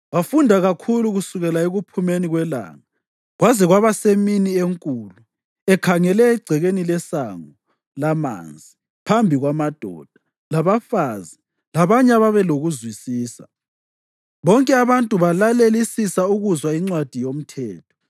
Wafunda kakhulu kusukela ekuphumeni kwelanga kwaze kwaba semini enkulu ekhangele egcekeni leSango laManzi phambi kwamadoda, labafazi labanye ababelokuzwisisa. Bonke abantu balalelisisa ukuzwa iNcwadi yoMthetho.